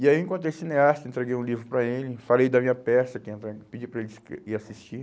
E aí eu encontrei o cineasta, entreguei um livro para ele, falei da minha peça, que ia entrar, pedi para ele ir assistir.